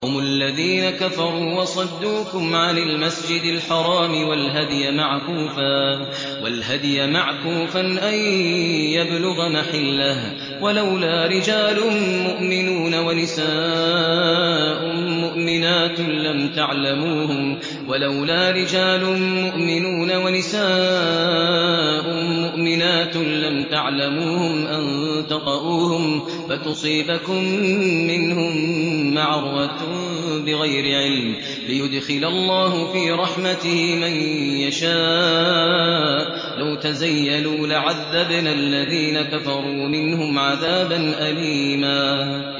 هُمُ الَّذِينَ كَفَرُوا وَصَدُّوكُمْ عَنِ الْمَسْجِدِ الْحَرَامِ وَالْهَدْيَ مَعْكُوفًا أَن يَبْلُغَ مَحِلَّهُ ۚ وَلَوْلَا رِجَالٌ مُّؤْمِنُونَ وَنِسَاءٌ مُّؤْمِنَاتٌ لَّمْ تَعْلَمُوهُمْ أَن تَطَئُوهُمْ فَتُصِيبَكُم مِّنْهُم مَّعَرَّةٌ بِغَيْرِ عِلْمٍ ۖ لِّيُدْخِلَ اللَّهُ فِي رَحْمَتِهِ مَن يَشَاءُ ۚ لَوْ تَزَيَّلُوا لَعَذَّبْنَا الَّذِينَ كَفَرُوا مِنْهُمْ عَذَابًا أَلِيمًا